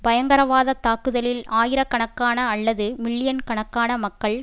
பயங்கரவாதத் தாக்குதலில் ஆயிரக்கணக்கான அல்லது மில்லியன் கணக்கான மக்கள்